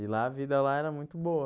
E lá a vida lá era muito boa.